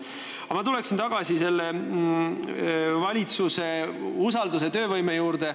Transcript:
Aga ma tuleksin tagasi valitsuse usaldusväärsuse ja töövõime juurde.